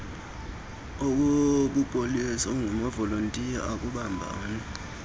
obupolisa angamavolontiya akubambanani